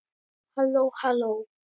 HALLÓ, HALLÓ.